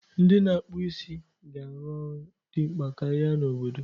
Ndị na-akpụ isi ga-arụ ọrụ dị mkpa karịa n’obodo.